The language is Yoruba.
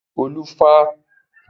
olu fà tábà ní David jé.